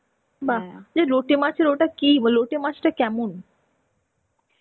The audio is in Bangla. বাহ্, লোটে মাছের ওটা কি বা লোটে মাছটা কেমন?